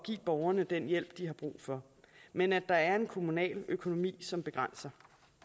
give borgerne den hjælp de har brug for men at der er en kommunal økonomi som begrænser